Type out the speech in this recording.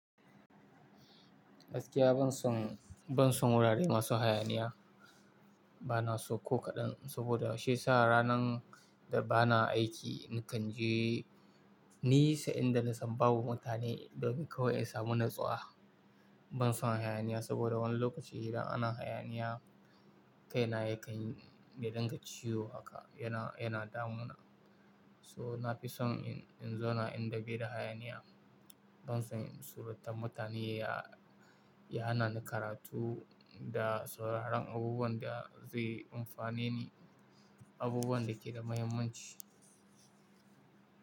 Daskiya ban son, ban son wurare masu hayaniya, bana so ko kaɗan saboda shiya sa ranar da bana aiki, nakan je ni sai inda na san babu mutane domin kawai in samu natsuwa. Ban son hayaniya saboda wani lokaci idan ana hayaniya kaina yakan yi dinga ciwo haka yana, yana damuna. So na fi son in, in zauna inda bai da hayaniya, ban son suratan mutane ya, ya hana ni karatu da sauraron abubuwan da zai amfane ni, abubuwan da ke da muhimmanci.